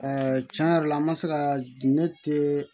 tiɲɛ yɛrɛ la an ma se ka ne te